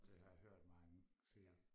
Det har jeg hørt mange sige